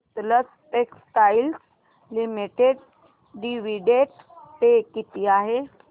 Sutlej textiles limited dividend pay किती आहे